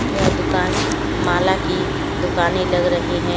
यह दुकान माला की दुकानें लग रही हैं।